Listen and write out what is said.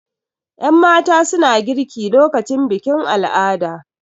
Yanmata suna girki lokacin bikin al'ada